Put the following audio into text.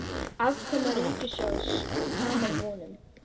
Afkoma ríkissjóðs framar vonum